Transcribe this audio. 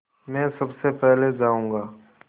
मैं सबसे पहले जाऊँगा